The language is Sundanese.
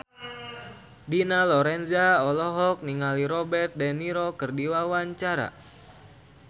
Dina Lorenza olohok ningali Robert de Niro keur diwawancara